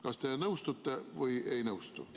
Kas te nõustute või ei nõustu?